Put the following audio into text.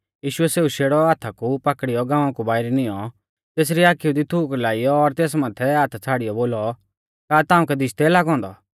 यीशुऐ सौ शेड़ौ हाथा कु पाकड़ियौ गाँवा कु बाइरै नियौं तेसरी आखिऊ दी थूक लाइयौ और तेस माथै हाथा छ़ाड़ियौ बोलौ का ताउंकै दिशदै लागौ औन्दौ